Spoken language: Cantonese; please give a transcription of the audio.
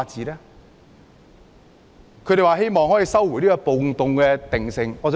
另一個訴求是希望收回"暴動"定性。